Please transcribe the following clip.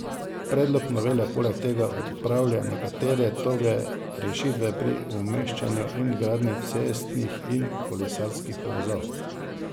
Predlog novele poleg tega odpravlja nekatere toge rešitve pri umeščanju in gradnji cestnih in kolesarskih povezav.